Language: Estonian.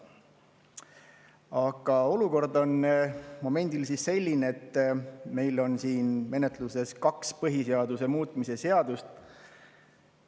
Aga olukord on momendil selline, et meil on siin menetluses kaks põhiseaduse muutmise seadust.